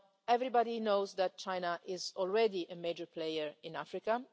Everybody knows that China is already a major player in Africa.